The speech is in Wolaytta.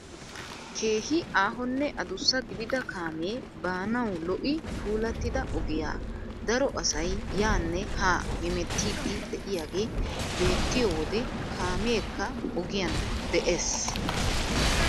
Keehi aahonne adussa gidida kaamee baanwu lo"i puulattida ogiyaa daro asay yaanne haa hemettiidi de'iyaagee beettiyoo wode kaameekka ogiyaan de'ees.